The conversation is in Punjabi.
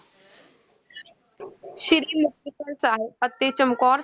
ਸ੍ਰੀ ਮੁਕਤਸਰ ਸਾਹਿਬ ਅਤੇ ਚਮਕੌਰ,